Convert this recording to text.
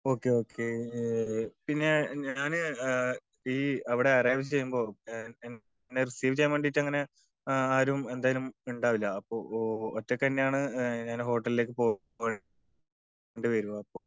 Okay okay. പിന്നെ ഞാന് ഈ അവിടെ അറൈവ് ചെയ്യുമ്പോ എന്നെ റിസീവ് ചെയ്യാൻ വേണ്ടിട്ട് അങ്ങിനെ ആരും എന്തായാലും ഉണ്ടാവില്ല. അപ്പൊ ഒറ്റക്ക് തന്നെയാണ് ഞാൻ ഹോട്ടലിലേക്ക് പോവേണ്ടി വരിക. അപ്പൊ